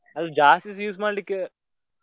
ಅದು ಜಾಸ್ತಿಸ use ಮಾಡ್ಲಿಕ್ಕೆ.